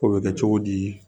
Ko bɛ kɛ cogo di